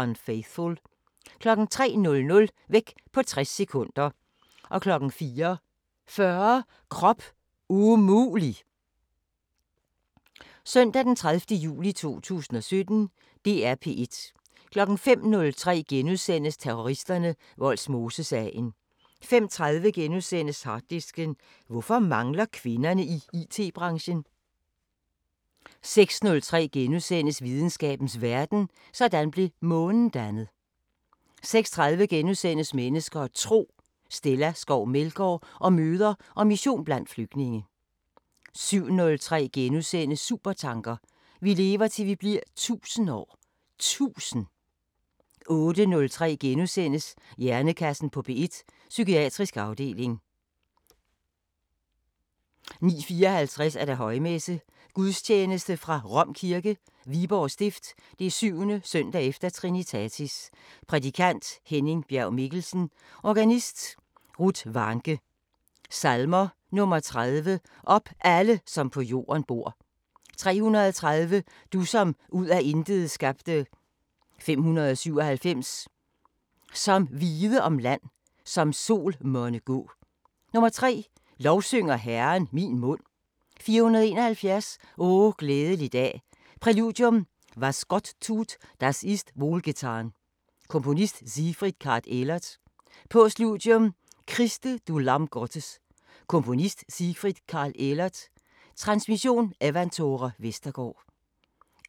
05:03: Terroristerne: Vollsmosesagen * 05:30: Harddisken: Hvorfor mangler kvinderne i IT-branchen? * 06:03: Videnskabens Verden: Sådan blev Månen dannet * 06:30: Mennesker og Tro: Stella Skov Meldgaard om møder og mission blandt flygtninge * 07:03: Supertanker: Vi lever, til vi bliver 1000 år! Tusind!! * 08:03: Hjernekassen på P1: Psykiatrisk afdeling * 09:07: Klog på Sprog * 09:54: Højmesse - Gudstjeneste fra Rom Kirke, Viborg Stift. 7.s.e Trinitatis. Prædikant: Henning Bjerg Mikkelsen. Organist: Ruth Warncke. Salmer: 30: "Op, alle, som på jorden bor" 330: "Du, som ud af intet skabte" 597: "Som vide om land, som sol monne gå" 3: "Lovsynger Herren, min mund" 471: "O glædelig dag" Præludium: Was Gott tut, das ist wohl getan. Komponist: Sigfrid Karg Elert. Postludium: Christe, du lamm Gottes. Komponist: Sigfrid Karg Elert. Transmission: Evanthore Vestergaard. 11:05: Masterclasses – Hanne Kvist: Billedbogen * 12:15: Søndagsfrokosten